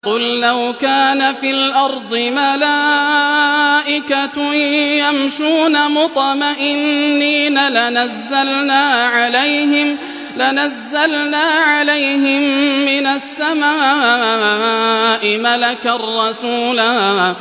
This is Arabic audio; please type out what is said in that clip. قُل لَّوْ كَانَ فِي الْأَرْضِ مَلَائِكَةٌ يَمْشُونَ مُطْمَئِنِّينَ لَنَزَّلْنَا عَلَيْهِم مِّنَ السَّمَاءِ مَلَكًا رَّسُولًا